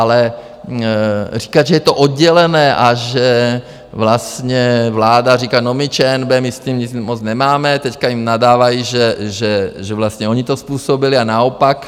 Ale říkat, že je to oddělené a že vlastně vláda říká no my, ČNB, my s tím nic moc nemáme, teď jim nadávají, že vlastně oni to způsobili, a naopak.